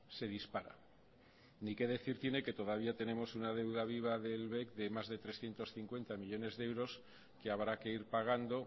se dispara ni que decir tiene que todavía tenemos una deuda viva del bec de más de trescientos cincuenta millónes de euros que habrá que ir pagando